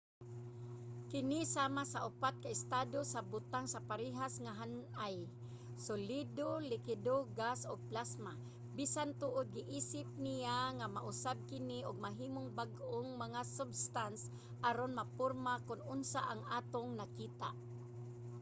kini sama sa upat ka estado sa butang sa parehas nga han-ay: solido likido gas ug plasma bisan tuod giisip niya nga mausab kini ug mahimong bag-ong mga substance aron maporma kon unsa ang atong nakita